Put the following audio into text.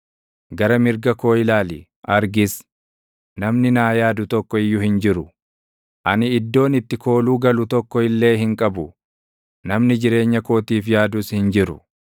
Gara mirga koo ilaali; argis; namni naa yaadu tokko iyyuu hin jiru; ani iddoon itti kooluu galu tokko illee hin qabu; namni jireenya kootiif yaadus hin jiru.